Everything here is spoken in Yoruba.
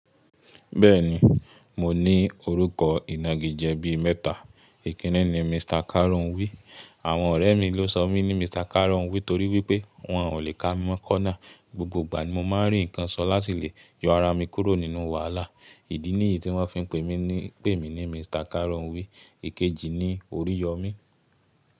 Bẹ́ẹ̀ni, mo ní orúkọ ìnagijẹ bí mẹ́ta. Ìkínní ni Mr. Karunwi. Àwọn ọ̀rẹ́ mi ló sọ mí ní Mr. Karunwi torí wípé wọ́n ò lè ká mi mọ́ corner. Gbogbo ìgbà ni mo máa ń rí nǹkan ṣọ lá tilẹ̀, yọ ara mi kúrò nínú wàhálà. Ìdí ní èyí tí wọ́n fi ń pè mí ní Mr. Karunwi. Ikeji ni oríyomi.